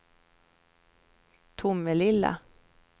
Tomelilla